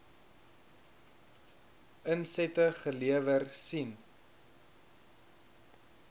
insette gelewer sien